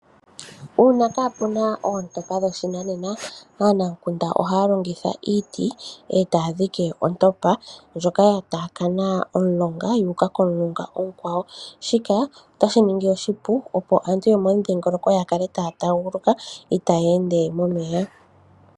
Uuna kaapuna oontopa dhoshinanena. Aanamukunda ohaya longitha iiti, e taya dhiki ontopa, ndyoka ya taakana omulonga yu uka komulonga omukwawo. Shika otashi ningi oshipu opo aantu yomomudhilongoloko, ya kale taya taaguluka itaya ende momeya.